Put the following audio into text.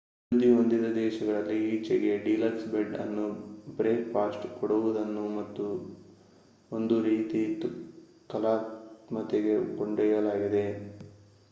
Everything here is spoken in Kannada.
ಅಭಿವೃದ್ಧಿ ಹೊಂದಿದ ದೇಶಗಳಲ್ಲಿ ಈಚೆಗೆ ಡಿಲಕ್ಸ್ ಬೆಡ್ ಅಂಡ್ ಬ್ರೇಕ್ಫಾಸ್ಟ್ ಕೊಡುವುದನ್ನು ಒಂದು ರೀತಿ ಕಲಾತ್ಮಕತೆಗೆ ಕೊಂಡೊಯ್ಯಲಾಗಿದೆ